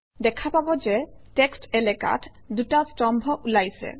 দেখা পাব যে টেক্সট্ এলেকাত দুটা স্তম্ভ ওলাইছে